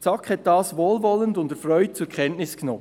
Die SAK hat dies wohlwollend und erfreut zur Kenntnis genommen.